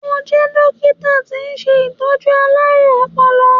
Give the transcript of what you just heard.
Mo jẹ́ dókítà tí ń ṣe Ìtọ́jú alárùn ọpọlọ.